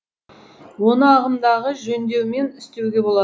оны ағымдағы жөндеумен істеуге болар